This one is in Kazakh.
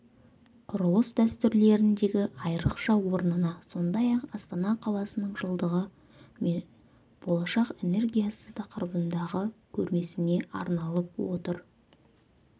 құрылыс дәстүрлеріндегі айрықша орнына сондай-ақ астана қаласының жылдығы мен болашақ энергиясы тақырыбындағы көрмесіне арналып отыр